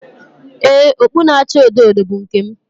Ee, okpu na-acha odo odo bụ nke m